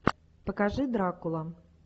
покажи дракула